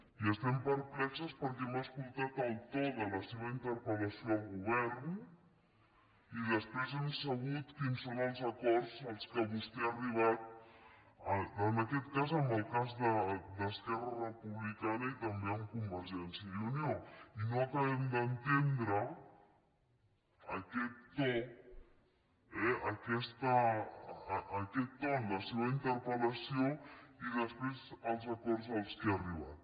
i estem perplexes perquè hem escoltat el to de la seva interpelquins són els acords a què vostè ha arribat en aquest cas en el cas d’esquerra republicana i també amb convergència i unió i no acabem d’entendre aquest to eh aquest to en la seva interpel·lació i després els acords a què ha arribat